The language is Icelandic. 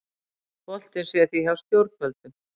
Boltinn sé því hjá stjórnvöldum